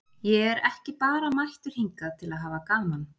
Ég er ekki bara mættur hingað til að hafa gaman.